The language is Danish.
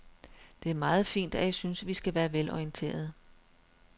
Det er meget fint, at I synes, vi skal være velorienterede.